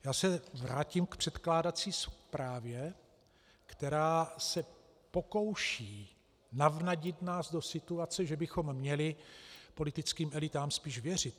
Já se vrátím k předkládací zprávě, která se pokouší navnadit nás do situace, že bychom měli politickým elitám spíš věřit.